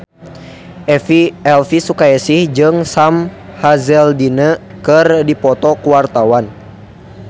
Elvi Sukaesih jeung Sam Hazeldine keur dipoto ku wartawan